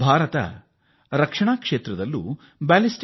ಭಾರತ ರಕ್ಷಣಾ ಕ್ಷೇತ್ರದಲ್ಲೂ ಯಶಸ್ವೀ ಪ್ರಯೋಗ ನಡೆಸಿದೆ